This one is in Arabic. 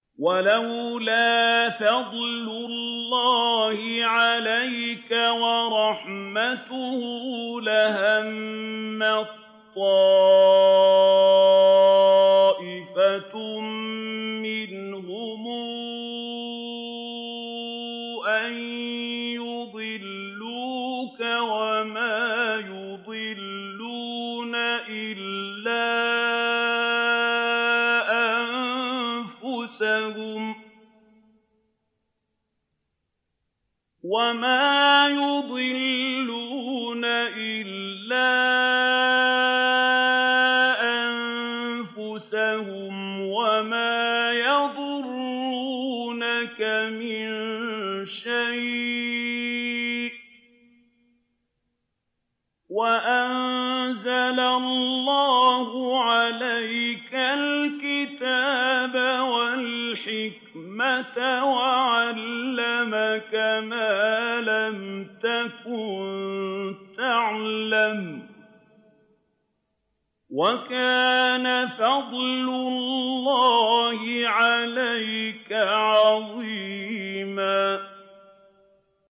وَلَوْلَا فَضْلُ اللَّهِ عَلَيْكَ وَرَحْمَتُهُ لَهَمَّت طَّائِفَةٌ مِّنْهُمْ أَن يُضِلُّوكَ وَمَا يُضِلُّونَ إِلَّا أَنفُسَهُمْ ۖ وَمَا يَضُرُّونَكَ مِن شَيْءٍ ۚ وَأَنزَلَ اللَّهُ عَلَيْكَ الْكِتَابَ وَالْحِكْمَةَ وَعَلَّمَكَ مَا لَمْ تَكُن تَعْلَمُ ۚ وَكَانَ فَضْلُ اللَّهِ عَلَيْكَ عَظِيمًا